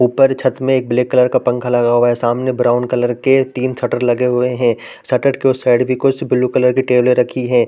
ऊपर छत में एक ब्लैक कलर का है पंखा लगा हुआ है सामने ब्राउन कलर के तीन शटरें लगे हुए है शटर के उस साइड भी कुछ ब्लू कलर टेबलें रखी हैं ।